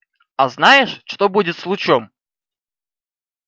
а знаешь что будет с лучом